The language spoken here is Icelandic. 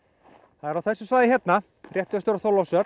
það er á þessu svæði hérna rétt vestur af Þorlákshöfn